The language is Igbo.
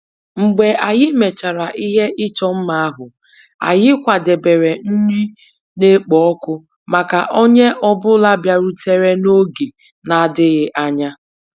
Mgbe anyị mechara ihe ịchọ mma ahụ, anyị kwadebere nri na-ekpo ọkụ maka onye ọ bụla bịarutere n'oge na-adịghị anya